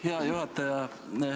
Hea juhataja!